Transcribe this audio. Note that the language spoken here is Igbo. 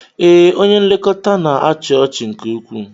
Ee, onye nlekọta na-achị ọchị nke ukwuu.